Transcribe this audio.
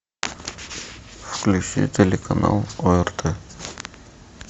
включи телеканал орт